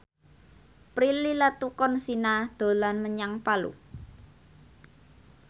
Prilly Latuconsina dolan menyang Palu